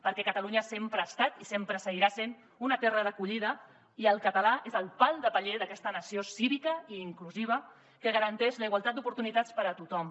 perquè catalunya sempre ha estat i sempre seguirà sent una terra d’acollida i el català és el pal de paller d’aquesta nació cívica i inclusiva que garanteix la igualtat d’oportunitats per a tothom